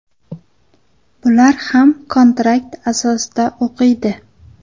Bular ham kontrakt asosida o‘qiydi.